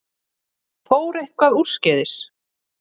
Fór eitthvað úrskeiðis?